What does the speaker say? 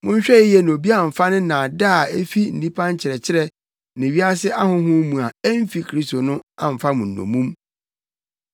Monhwɛ yiye na obi amfa ne nnaadaa a efi nnipa nkyerɛkyerɛ ne wiase ahonhom mu a emfi Kristo no amfa mo nnommum.